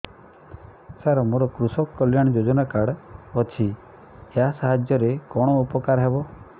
ସାର ମୋର କୃଷକ କଲ୍ୟାଣ ଯୋଜନା କାର୍ଡ ଅଛି ୟା ସାହାଯ୍ୟ ରେ କଣ ଉପକାର ହେବ